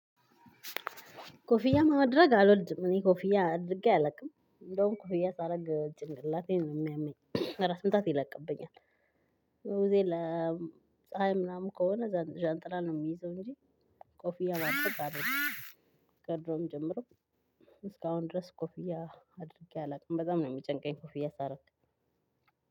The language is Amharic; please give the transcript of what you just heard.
ኮፊያ ማድረግ አልወልድም እኔ ኮፊያ አድርጌ አላውቅም እንደውም ኮፊያ ሳደርግ ጭንቅላቴን የሚያመኝ ራስ ምታት ይለቅብኛል። ጊዜ ለፀሀይ ምናምን ከሆነ ዣንጥላ ነው የሚይዘው እንጂ ኮፍያ ማድረግ አልወድም። ጀምሮ እስካሁን ድረስ ኮፍያ አድርጌ አላውቅም። በጣም ነው የሚጨንቀኝ ኮፍያ ሳደርግ።